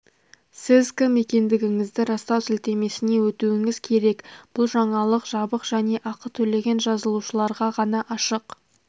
сіз кім екендігіңізді растау сілтемесіне өтуіңіз керек бұл жаңалық жабық және ақы төлеген жазылушыларға ғана ашық